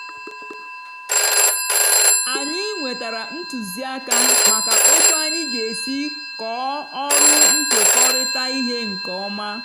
anyị nwetara ntụzịaka maka otu anyị ga-esi kọọ ọrụ nkekọrịta ihe nke ọma.